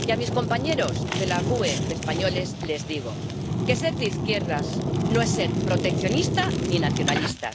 Y a mis compañeros de la GUE españoles les digo que ser de izquierdas no es ser proteccionista ni nacionalista.